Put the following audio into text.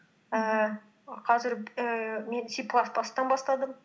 ііі қазір ііі мен си плас бастан бастадым